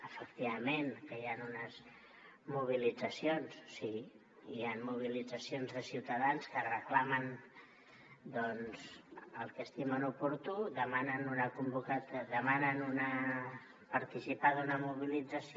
efectivament hi han unes mobilitzacions sí hi han mobilitzacions de ciutadans que reclamen doncs el que estimen oportú demanen participar d’una mobilització